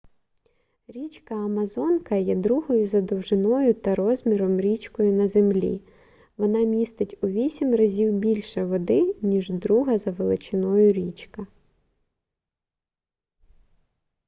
річка амазонка є другою за довжиною та розміром річкою на землі вона містить у 8 разів більше води ніж друга за величиною річка